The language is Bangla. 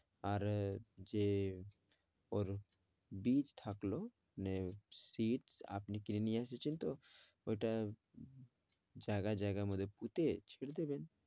আর আহ যে ওর বীজ থাকলো মানে seeds আপনি কিনে নিয়ে আসছেন তো ওইটা জায়গায়, জায়গার মধ্যে পুঁতে ছেড়ে দেবেন।